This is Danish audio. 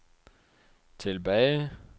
tilbage